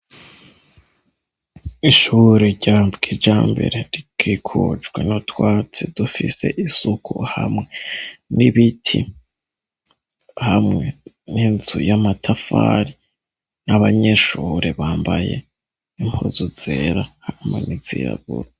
Ishure ryaha Mukijambere rikikujwe n'utwatsi dufise isuku, hamwe n'ibiti, hamwe n'inzu y'amatafari n'abanyeshure bambaye impuzu zera hamwe n'izirabura.